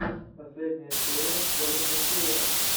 последняя серия коллинза кея